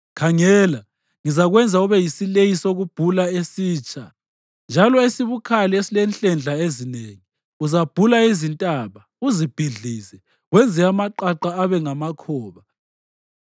“Khangela, ngizakwenza ube yisileyi sokubhula esitsha njalo esibukhali esilenhlendla ezinengi. Uzabhula izintaba uzibhidlize. Wenze amaqaqa abe ngamakhoba.